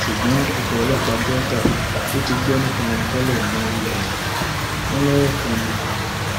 ṣùgbọn ikọ ọlọpàá delta tó ti gbọ nípa wọn tẹlẹ náwó gan wọn lọwọ kan ni